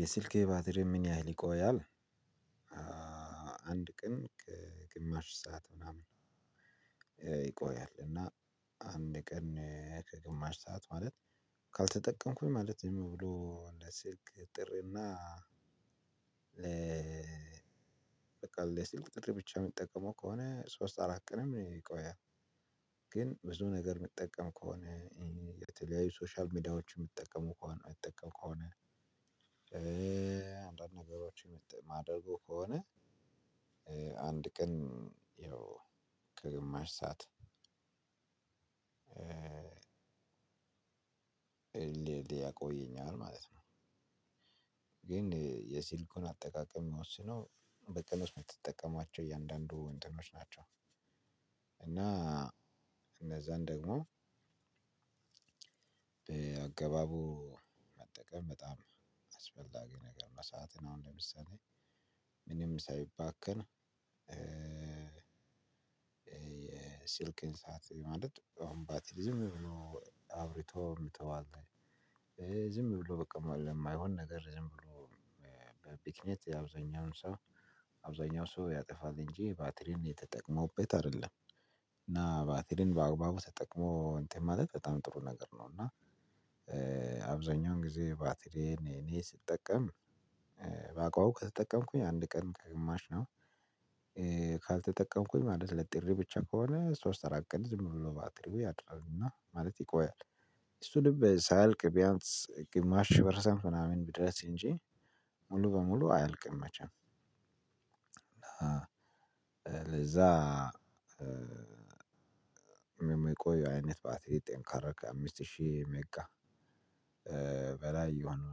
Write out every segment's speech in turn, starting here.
"የስልክህ የባትሪ ምን ያህል ይቆያል?"? አንድ ቀን ከግማሽ ሰዓት ምናምን ይቆያል እና አንድ ቀን ከግማሽ ሰዓት ማለት ካልተጠቀምኩኝ ማለት ዝም ብሎ እንደ ስልክ ጥሪና በቃ ለስልክ ጥሪ ብቻ የምጠቀመው ከሆነ ሶስት አራት ቀንም ይቆያል። ግን ብዙ ነገር የምጠቀም ከሆነ የተለያዩ ሶሻል ሚዲያዎችን የሚጠቀሙ ከሆነ ሚጠቀም ከሆነ አንዳንድ ነገሮችን ማደርግ ከሆነ አንድ ቀን ያው ከግማሽ ሰዓት ልል ያቆየኛል ማለት ነው። ግን የስልኩን አጠቃቀም የምወስነው በተን ውስጥ የምትጠቀሟቸው እያንዳንዱ እንትኖች ናቸው። እና እነዛን ደግሞ በአገባቡ መጠቀም በጣም አስፈላጊ ነገር ነው። መሰአትን አሁን ለምሳሌ ምንም ሳይባከን። የስልክን ሰዓት ማለት አሁን ባትሪ ዝም ብሎ አብርቶ ምተዋት ዝም ብሎ በቃ ለማይሆን ነገር ዝም ብሎ በብክነት የአብዛኛውን ሰው አብዛኛው ሰው ያጠፋል እንጂ ባትሪን ተጠቀመውበት አይደለም። እና ባትሪን በአግባቡ ተጠቅሞ እንትን ማለት በጣም ጥሩ ነገር ነው። እና አብዛኛውን ጊዜ ባትሪዬን እኔ ስጠቀም ባአግባብ ከተጠቀምኩኝ አንድ ቀን ከግማሽ ነው። ካልተጠቀምኩኝ ማለት ለጥሪ ብቻ ከሆነ ሶስት አራት ቀን ዝም ብሎ ባትሪው ያድራልና ማለት ይቆያል። እሱንም ሳይልቅ ቢያንስ ግማሽ ፐርሰንት ምናምን ብድረስ እንጂ ሙሉ በሙሉ አያልቅም። መቼም ለዛ የሚቆይ አይነት ባትሪ ጠንካራ ከአምስት ሺህ ሜጋ በላይ የሆኑ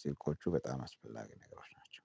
ስልኮቹ በጣም አስፈላጊ ነገሮች ናቸው